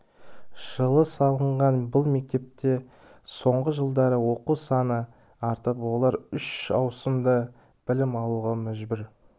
жылы салынған бұл мектепте соңғы жылдары оқушы саны артып олар үш ауысымда білім алуға мәжбүр